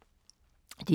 DR2